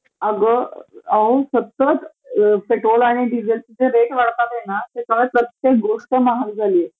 अ राहून सतत पेट्रोल आणि डिझेलचे जे रेट वाढतातेनं त्यामुळे प्रत्येक गोष्ट महाग झाली आहे